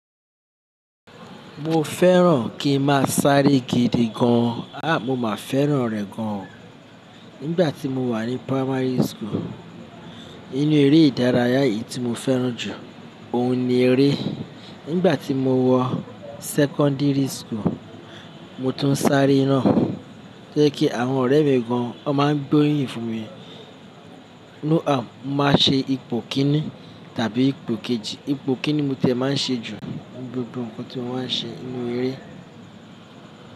Mo fẹ́ràn kí ń máa sáré gidi gan. Àh, mo máa fẹ́ràn rẹ̀ gan. Nígbà tí mo wà ní primary school, inú eré ìdárayá yìí tí mo fẹ́ràn jù, òun ni eré. Nígbà tí mo wọ secondary school, mo tún sáré náa. Ó jẹ́ kí àwọn ọ̀rẹ́ mi gan, wọ́n máa ń gbóríyìn fún mi. Mo máa ṣe ipò kíní tàbí ipò kejì. Ipò kíní mo ti e máa ń ṣe jù ninu gbogbo nǹkan tí mo máa ń ṣe nínú eré.